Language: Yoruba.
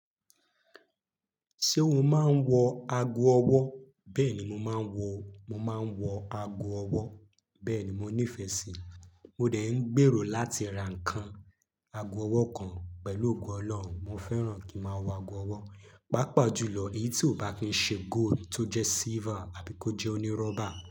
Ṣé o máa ń wọ ago ọwọ́? Bẹ́ẹ̀ ni mo máa ń wọ, mo máa ń wọ ago ọwọ́. Bẹ́ẹ̀ ni mo nífẹ̀ẹ́ síi. Mo dẹ̀ ń gbèrò láti ra nǹkan, ago ọwọ́ kan pẹ̀lú ògo Ọlọ́run. Mo fẹ́ràn kí máa wọ ago ọwọ́. Pápa jùlọ èyí tí ó bá fi ṣe gold, tó jẹ silver àbí kó jẹ́ onírọ́bà.